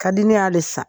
Ka di ne y'ale san